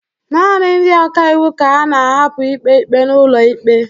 naanị ndị ọka iwu ka a na-ahapụ ikpe ikpe n'ụlọ ikpe